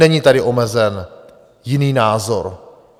Není tady omezen jiný názor.